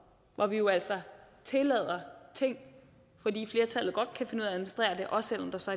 hvor vi jo altså tillader ting fordi flertallet godt kan finde at administrere det også selv om der så